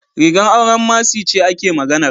Rigar auren Mercy ce ake maganar.